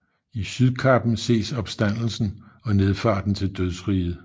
I sydkappen ses Opstandelsen og Nedfarten til dødsriget